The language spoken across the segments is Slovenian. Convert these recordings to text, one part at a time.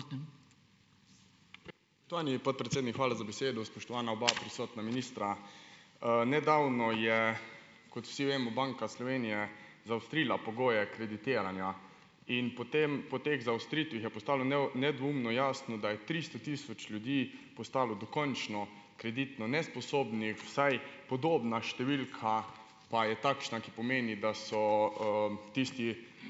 Spoštovani podpredsednik, hvala za besedo. Spoštovana oba prisotna ministra! Nedavno je, kot vsi vemo, Banka Slovenije zaostrila pogoje kreditiranja in po tem, po teh zaostritvah je postalo nedvoumno jasno, da je tristo tisoč ljudi postalo dokončno kreditno nesposobnih, vsaj podobna številka pa je takšna, ki pomeni, da so, tisti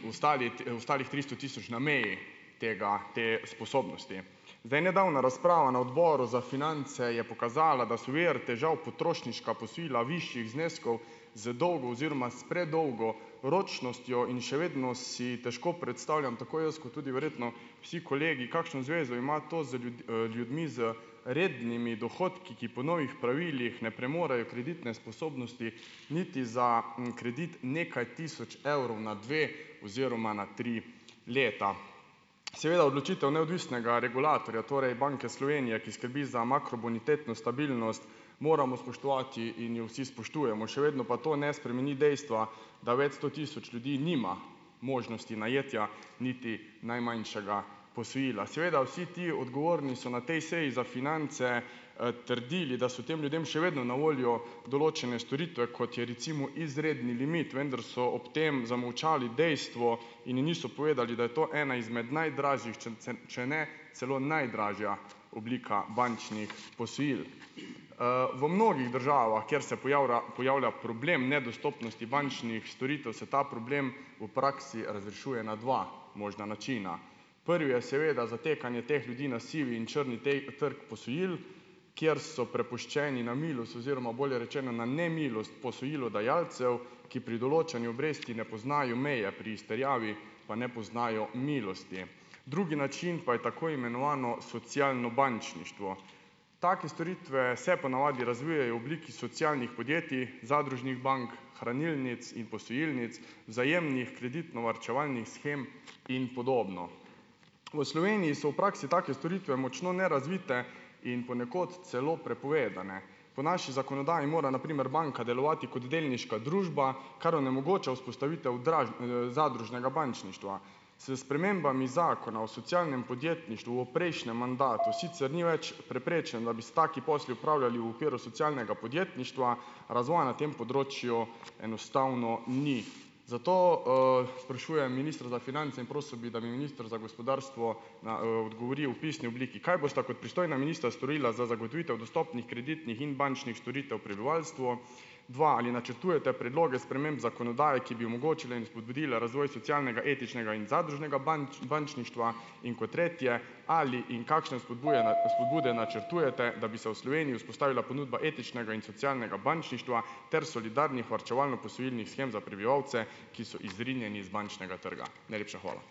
ostalih tristo tisoč na meji tega te sposobnosti. Zdaj. Nedavna razprava na Odboru za finance je pokazala, da so vir težav potrošniška posojila višjih zneskov z dolgo oziroma s predolgo ročnostjo in še vedno si težko predstavljam, tako jaz kot tudi verjetno vsi kolegi, kakšno zvezo ima to za ljudmi z rednimi dohodki, ki po novih pravilih ne premorejo kreditne sposobnosti niti za, kredit nekaj tisoč evrov na dve oziroma na tri leta. Seveda odločitev neodvisnega regulatorja, torej Banke Slovenije, ki skrbi za makrobonitetno stabilnost, moramo spoštovati in jo vsi spoštujemo. Še vedno pa to ne spremeni dejstva, da več sto tisoč ljudi nima možnosti najetja niti najmanjšega posojila. Seveda vsi ti odgovorni so na tej seji za finance, trdili, da so tem ljudem še vedno na voljo določene storitve, kot je recimo izredni limit. Vendar so ob tem zamolčali dejstvo in niso povedali, da je to ena izmed najdražjih, če če ne celo najdražja oblika bančnih posojil. V mnogih državah, kjer se pojavila problem nedostopnosti bančnih storitev, se ta problem v praksi razrešuje na dva možna načina. Prvi je seveda zatekanje teh ljudi na sivi in črni trg posojil, kjer so prepuščeni na milost oziroma bolje rečeno na nemilost posojilodajalcev, ki pri določanju obresti ne poznajo meje, pri izterjavi pa ne poznajo milosti. Drugi način pa je tako imenovano socialno bančništvo. Take storitve se ponavadi razvijejo v obliki socialnih podjetij, zadružnih bank, hranilnic in posojilnic, vzajemnih kreditno-varčevalnih shem in podobno. V Sloveniji so v praksi take storitve močno nerazvite in ponekod celo prepovedane. Po naši zakonodaji mora na primer banka delovati kot delniška družba, kar onemogoča vzpostavitev zadružnega bančništva. S spremembami zakona o socialnem podjetništvu v prejšnjem mandatu sicer ni več preprečeno, da bi se taki posli opravljali v okviru socialnega podjetništva. Razvoja na tem področju enostavno ni. Zato, sprašujem ministra za finance in prosil bi, da mi minister za gospodarstvo na, odgovori v pisni obliki, kaj bosta kot pristojna ministra storila za zagotovitev dostopnih kreditnih in bančnih storitev prebivalstvu. Dva, ali načrtujete predloge sprememb zakonodaje, ki bi omogočila in vzpodbudila razvoj socialnega, etičnega in zadružnega bančništva. In kot tretje, ali in kakšne vzpodbude načrtujete, da bi se v Sloveniji vzpostavila ponudba etičnega in socialnega bančništva ter solidarnih varčevalno-posojilnih shem za prebivalce, ki so izrinjeni iz bančnega trga. Najlepša hvala.